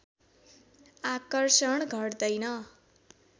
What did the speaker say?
आकर्षण घट्दैन